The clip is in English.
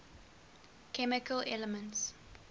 chemical elements